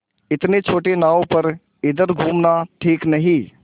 इतनी छोटी नाव पर इधर घूमना ठीक नहीं